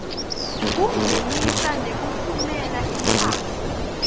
kungenisa nekutfumela imphahla